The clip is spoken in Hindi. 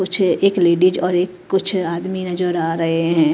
कुछ एक लेडीज और एक कुछ आदमी नजर आ रहे हैं।